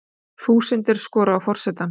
Þúsundir skora á forsetann